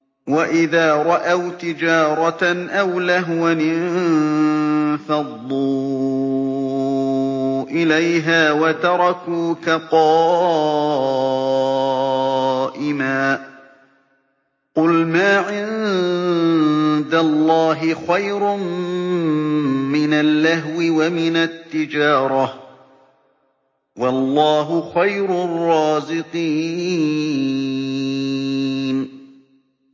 وَإِذَا رَأَوْا تِجَارَةً أَوْ لَهْوًا انفَضُّوا إِلَيْهَا وَتَرَكُوكَ قَائِمًا ۚ قُلْ مَا عِندَ اللَّهِ خَيْرٌ مِّنَ اللَّهْوِ وَمِنَ التِّجَارَةِ ۚ وَاللَّهُ خَيْرُ الرَّازِقِينَ